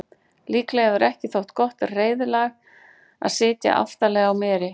líklega hefur ekki þótt gott reiðlag að sitja aftarlega á meri